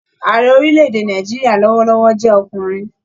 Ààrẹ orílẹ̀-èdè Nàìjíríà lọwọlọwọ jẹ ọkùnrin.